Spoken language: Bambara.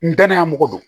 N danaya mɔgɔ don